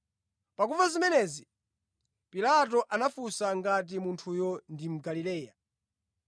Pakumva zimenezi, Pilato anafunsa ngati munthuyo ndi Mgalileya.